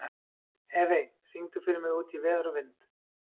Evey, syngdu fyrir mig „Út í veður og vind“.